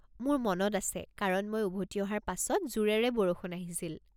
মোৰ মনত আছে, কাৰণ মই উভতি অহাৰ পাছত জোৰেৰে বৰষুণ আহিছিল।